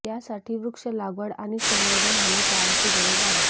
यासाठी वृक्ष लागवड आणि संवर्धन होणे काळाची गरज आहे